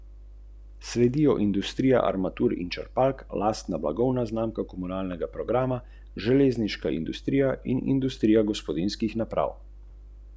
Ljubljana.